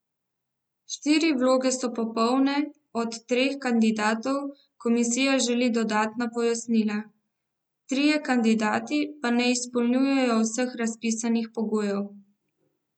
Štiri vloge so popolne, od treh kandidatov komisija želi dodatna pojasnila, trije kandidati pa ne izpolnjujejo vseh razpisnih pogojev.